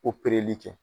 Opereli kɛ